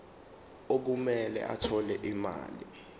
okumele athole imali